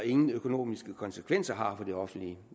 ingen økonomiske konsekvenser har for det offentlige